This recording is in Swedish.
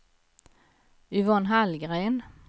Yvonne Hallgren